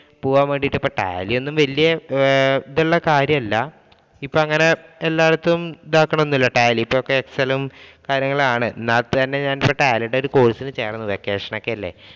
പോകാൻ വേണ്ടിയിട്ട് കാര്യമൊന്നും വലിയ ഇതുള്ള കാര്യമല്ല. ഇപ്പോൾ അങ്ങനെ എല്ലായിടത്തും ഇത് ആക്കണമെന്നില്ല tallyExcel ഉം കാര്യങ്ങളും തന്നെയാണ്. എന്നാല്‍ തന്നെ tally യുടെ course ഇന് ചേര്‍ന്നു. Vacation ഒക്കെ അല്ലേ.